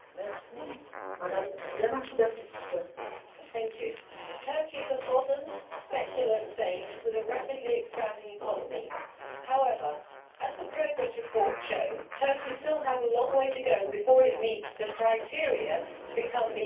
Madam President, Turkey is a modern secular state with a rapidly expanding economy. However, as the progress report shows, Turkey still has a long way to go before it meets the criteria to become an EU member.